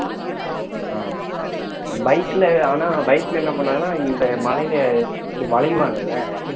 ஆஹ் bike லஆனா bike ல என்ன பண்ணாங்கன்னா இந்த மழையிலே இப்படி வளைவாங்கள்ல